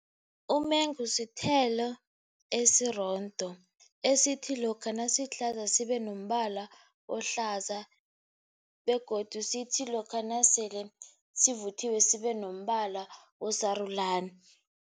Umengu sithelo esirondo esithi, lokha nasihlaza sibe nombala ohlaza begodu sithi, lokha nasele sivuthiwe sibe nombala osarulani.